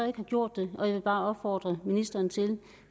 ikke har gjort det jeg vil bare opfordre ministeren til